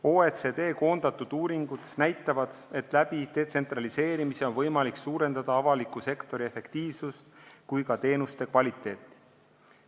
OECD koondatud uuringud näitavad, et detsentraliseerimisega on võimalik suurendada nii avaliku sektori efektiivsust kui parandada ka teenuste kvaliteeti.